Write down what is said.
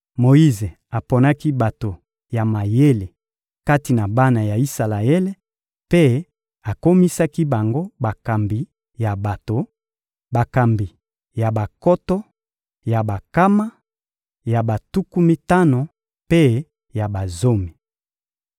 Moyize aponaki bato ya mayele kati na bana ya Isalaele mpe akomisaki bango bakambi ya bato: bakambi ya bankoto, ya bankama, ya batuku mitano mpe ya bazomi.